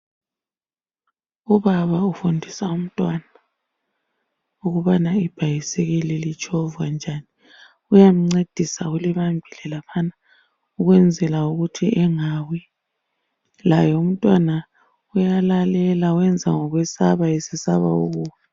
Ubaba ufundisa umntwana ukubana ibhayisikili litshovwa njani. Uyamncedisa ulibambile laphana ukwenzela ukuthi engawi. Laye umntwana uyalalela, wenza ngokwesaba, esesaba ukuwa.